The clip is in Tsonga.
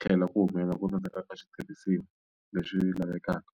tlhela ku humelela ku tsandzeka ka switirhisiwa leswi lavekaka.